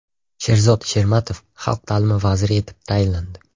Sherzod Shermatov xalq ta’limi vaziri etib tayinlandi.